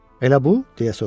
“Elə bu?”